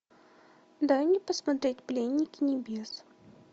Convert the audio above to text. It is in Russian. дай мне посмотреть пленники небес